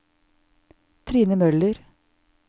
Trine Møller